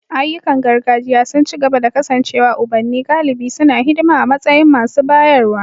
Ayyukan gargajiya sun ci gaba da kasancewa ubanni galibi suna hidima a matsayin masu bayarwa.